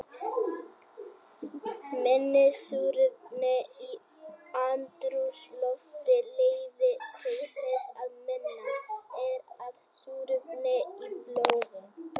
Minna súrefni í andrúmslofti leiðir til þess að minna er af súrefni í blóði.